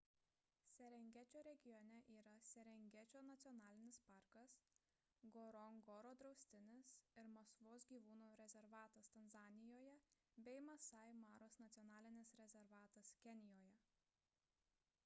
serengečio regione yra serengečio nacionalinis parkas ngorongoro draustinis ir masvos gyvūnų rezervatas tanzanijoje bei masai maros nacionalinis rezervatas kenijoje